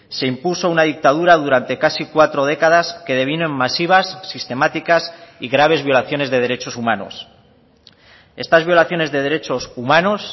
se impuso una dictadura durante casi cuatro décadas que devino en masivas sistemáticas y graves violaciones de derechos humanos estas violaciones de derechos humanos